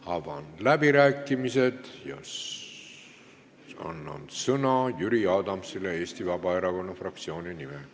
Avan läbirääkimised ja annan sõna Jüri Adamsile Eesti Vabaerakonna fraktsiooni nimel.